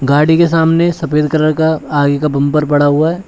गाड़ी के सामने सफेद कलर का आगे का बंपर पड़ा हुआ है।